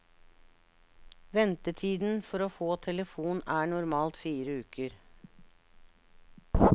Ventetiden for å få telefon er normalt fire uker.